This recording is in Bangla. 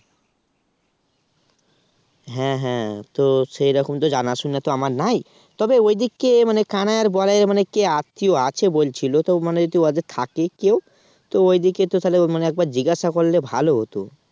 হ্যাঁ হ্যাঁ তো সেরকম তো জানাশোনা আমার নাই তবে ওদিকে কানাই আর বলায়ের মানে কে আত্মীয় আছে বলছিল তো মানে যদি ওদের থাকে কেউ তো ওই দিকে তো তাহলে মানে একবার জিজ্ঞাসা করলে ভালো হতো